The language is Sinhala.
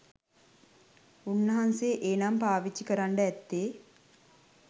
උන්නාන්සේ ඒ නම පාවිච්චි කරන්ඩ ඇත්තේ